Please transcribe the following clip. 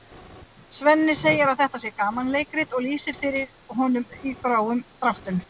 Svenni segir að þetta sé gamanleikrit og lýsir því fyrir honum í grófum dráttum.